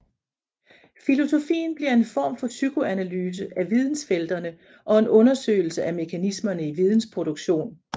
Filosofien bliver en form for psykoanalyse af vidensfelterne og en undersøgelse af mekanismerne i vidensproduktionen